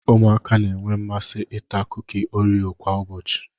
Ụmụaka na-enwe mmasị ita kuki oreo kwa ụbọchị.